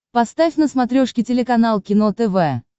поставь на смотрешке телеканал кино тв